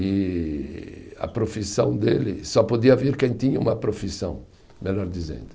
E a profissão dele, só podia vir quem tinha uma profissão, melhor dizendo.